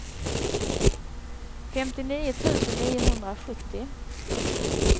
femtionio tusen niohundrasjuttio